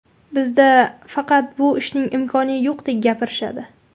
Bizda faqat bu ishning imkoni yo‘qdek gapirishadi.